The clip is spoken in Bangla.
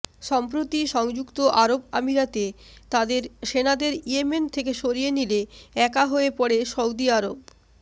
সম্প্রতি সংযুক্ত আরব আমিরাত তাদের সেনাদের ইয়েমেন থেকে সরিয়ে নিলে একা হয়ে পড়ে সউদী আরব